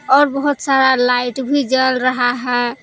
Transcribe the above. और बहुत सारा लाइट भी जल रहा है।